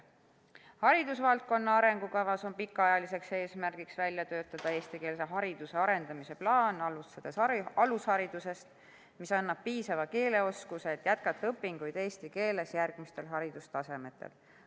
"Haridusvaldkonna arengukavas 2021–2035" on pikaajaliseks eesmärgiks välja töötada eestikeelse hariduse arendamise plaan, alustades alusharidusest, mis annab piisava keeleoskuse, et jätkata õpinguid eesti keeles järgmistel haridustasemetel.